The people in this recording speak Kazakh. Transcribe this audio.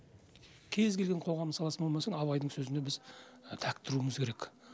кез келген қоғамның саласы болмасын абайдың сөзіне біз тәк тұруымыз керек